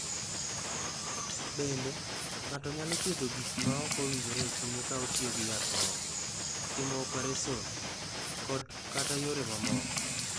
"Bende, ng’ato nyalo thiedho gik ma ok owinjore e chunye ka otiyo gi yath moko, timo opereson, kod/kata yore mamoko."